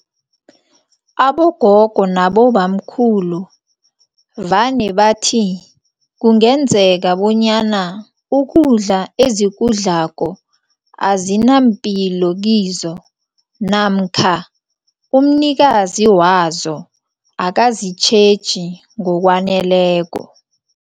Abogogo nabobamkhulu vane bathi, kungenzeka bonyana ukudla ezikudlako azinampilo kizo namkha umnikazi wazo akazitjheji ngokwaneleko.